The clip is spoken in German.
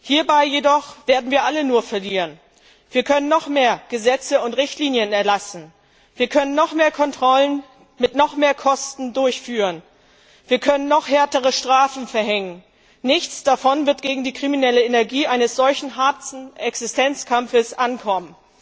Hierbei jedoch werden wir alle nur verlieren. Wir können noch mehr Gesetze und Richtlinien erlassen, wir können noch mehr Kontrollen mit noch mehr Kosten durchführen, wir können noch härtere Strafen verhängen nichts davon wird gegen die kriminelle Energie eines solch harten Existenzkampfs ankommen.